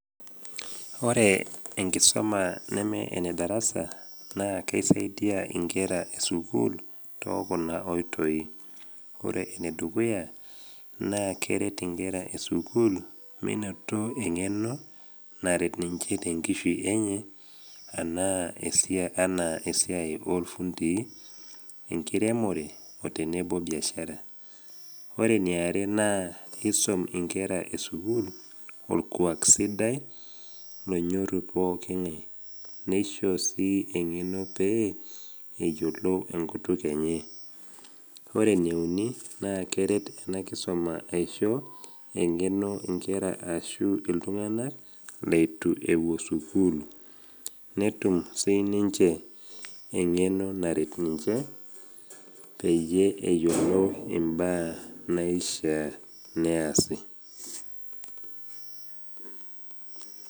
Ore enkisoma neme enedarasa naa keisaidia inkera e sukuul to kuna oitoi, ore enedukuya naa keret inkera e sukuul meinoto eng’eno naret ninche tenkishui enye anaa esiai olfundii, enkiremore, otenebo biashara . Ore eniare naa eisom inkera e sukuul olkuak sidai lonyorru pooki ng’ai. Nesho sii eng’eno pee eyolou enkutuk enye. Ore eneuni naa keret ena kisoma aisho eng’eno inkera ashu iltung’ana leitu ewuo sukuul, netum siniinche eng’eno naret ninche peyie eyolou imbaa naishaa neasi.